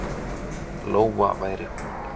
Lóa væri hún.